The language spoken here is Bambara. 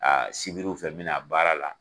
sibiriw fɛ me na baara la.